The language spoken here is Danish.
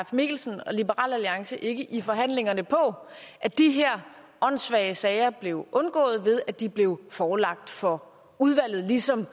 mikkelsen og liberal alliance ikke i forhandlingerne på at de her åndssvage sager blev undgået ved at de blev forelagt for udvalget ligesom